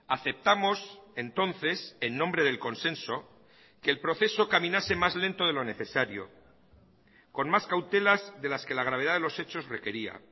aceptamos entonces en nombre del consenso que el proceso caminase más lento de lo necesario con más cautelas de las que la gravedad de los hechos requería